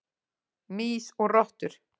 Mýs og rottur.